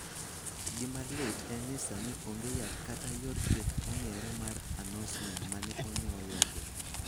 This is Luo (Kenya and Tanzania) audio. Gima lit en ni sani, onge yath kata yor thieth mong'ere mar anosmia ma ne onyuolwago.